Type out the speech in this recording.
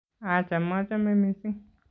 Acha, machame mising